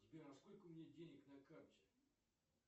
сбер а сколько у меня денег на карте